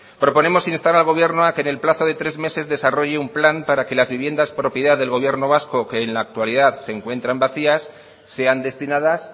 proponemos instar al gobierno a que en el plazo de tres meses desarrolle un plan para que las viviendas propiedad del gobierno vasco que en la actualidad se encuentran vacías sean destinadas